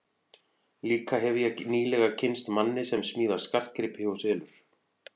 Líka hefi ég nýlega kynnst manni sem smíðar skartgripi og selur.